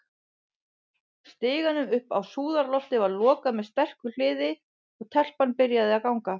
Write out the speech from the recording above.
Stiganum upp á súðarloftið var lokað með sterku hliði, og- telpan byrjaði að ganga.